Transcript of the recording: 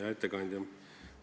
Hea ettekandja!